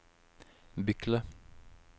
Bykle